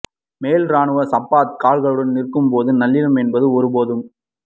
மேல் இராணுவம் சப்பாத்து கால்களுடன் நிற்கும் போது நல்லிணக்கம் என்பது ஒருபோதும்